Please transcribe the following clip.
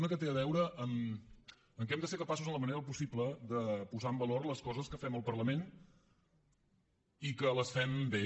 una que té a veure amb el fet que hem de ser capaços en la mesura del possible de posar en valor les coses que fem al parlament i que les fem bé